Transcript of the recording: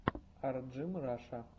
арджимраша